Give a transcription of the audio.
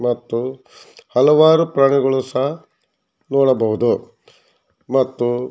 ಮತ್ತು ಹಲವಾರು ಪ್ರಾಣಿಗಳು ಸಹ ನೋಡಬಹುದು ಮತ್ತು--